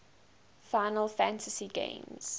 final fantasy games